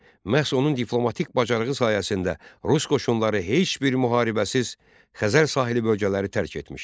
Məhz onun diplomatik bacarığı sayəsində Rus qoşunları heç bir müharibəsiz Xəzər sahili bölgələri tərk etmişdi.